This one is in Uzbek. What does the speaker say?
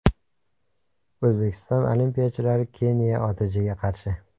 O‘zbekiston olimpiyachilari Keniya OTJga qarshi.